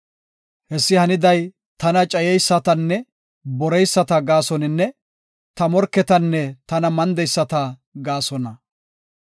Hessi haniday tana cayeysatanne boreyisata gaasoninne, ta morketanne tana mandeyisata gaasona.